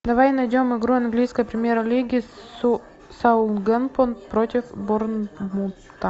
давай найдем игру английской премьер лиги саутгемптон против борнмута